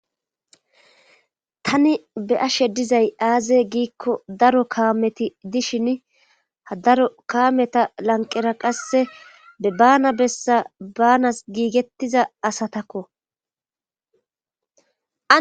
Tani be ashe dizay aaze giikko daro kaameti dishin ha daro kaameta lanqera qasse be baana bessa baanas giigettiza asatakko.